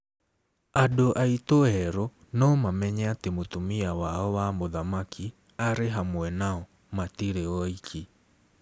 "Andũ aitũ erũ no mamenye atĩ mũtumia wao wa mũthamaki arĩ hamwe nao - matirĩ oiki".